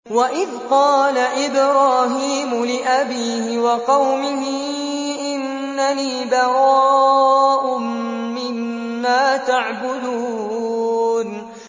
وَإِذْ قَالَ إِبْرَاهِيمُ لِأَبِيهِ وَقَوْمِهِ إِنَّنِي بَرَاءٌ مِّمَّا تَعْبُدُونَ